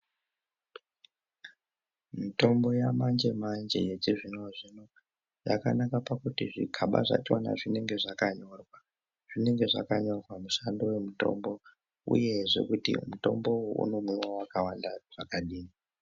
Mitombo yamanje manje yechizvino zvino yakanaka pakuti zvigaba zvakhona zvinenge zvakanyorwa, zvinenge zvakanyorwa mushando wemutombo uyezve kuti mutombo wo unomwiwa wakawanda zvakadini.